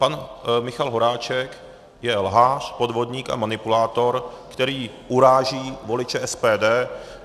Pan Michal Horáček je lhář, podvodník a manipulátor, který uráží voliče SPD.